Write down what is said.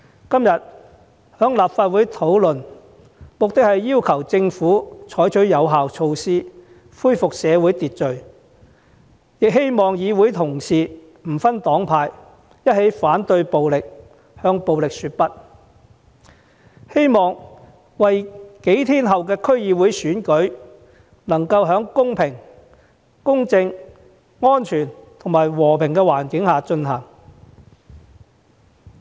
今天在立法會討論這項議案的目的，是要求政府採取有效措施，恢復社會秩序，亦希望議會同事不分黨派一起反對暴力，向暴力說不，令數天後的區議會選舉能夠在公平公正、安全及和平的環境下進行。